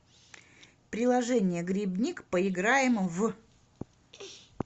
приложение грибник поиграем в